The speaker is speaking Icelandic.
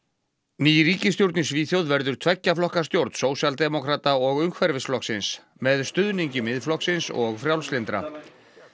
ný ríkisstjórn í Svíþjóð verður tveggja flokka stjórn sósíaldemókrata og með stuðningi Miðflokksins og frjálslyndra